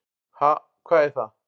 """Ha, hvað er það?"""